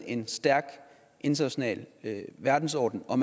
en stærk international verdensorden og